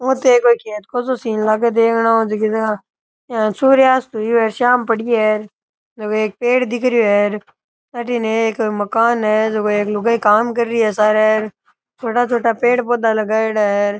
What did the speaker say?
ओ तो एक सिन लागे देखन ऊ इया सूर्यास्त हुई है शाम पड़ी है और एक पेड़ दिख रो है अठन एक मकान है छोटा छोटा पेड़ पौधा लगायेडा है।